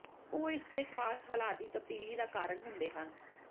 ਉਹ ਇਸ ਦੇ ਖਾਸ ਹਾਲਾਤ ਦੀ ਤਬਦੀਲੀ ਦਾ ਕਾਰਨ ਹੁੰਦੇ ਹਨ